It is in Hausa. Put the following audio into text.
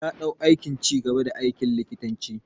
Ya dau aikin ci gaba da aikin likitanci.